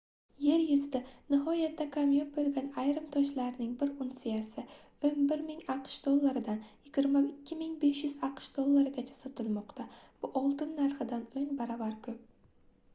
yer yuzida nihoyatda kamyob boʻlgan ayrim toshlarning bir unsiyasi 11 000 aqsh dollaridan 22 500 aqsh dollarigacha sotilmoqda bu oltin narxidan oʻn baravar koʻp